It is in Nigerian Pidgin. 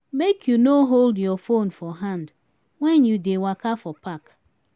make you no hold you phone for hand wen you dey waka for park.